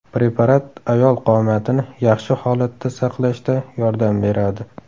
Preparat ayol qomatini yaxshi holatda saqlashda yordam beradi.